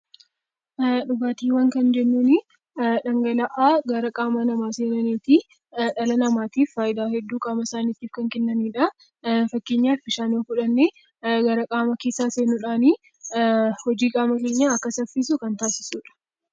Dhugaatiiwwan kan jennuun dhangala'aa gaa qaama namaa seenanii fi dhala namaatiif fayidaa hedduu qaama isaaniif kan kennanidha. Fakkeenyaaf bishaan yoo fudhannee gara qaama keessaa seenuudhaan hojii qaama keenyaa Akka saffisu kan taasisudha .